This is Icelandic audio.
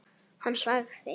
Hann sagði